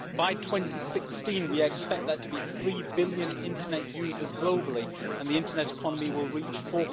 By 2016 we expect there to be 3 billion internet users globally and the internet economy will reach USD